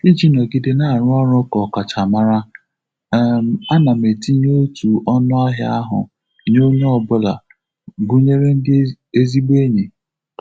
Iji nọgide na-arụ ọrụ ka ọkachamara, um ana m etinye otu ọnụahia ahụ nye onye ọ bụla, gunyere ndi ezigbo enyi.